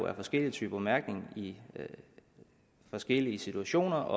er forskellige typer mærkning i forskellige situationer